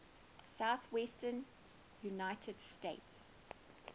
southwestern united states